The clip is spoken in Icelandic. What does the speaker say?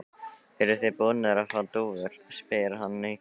Eruð þið búnir að fá dúfur? spyr hann hikandi.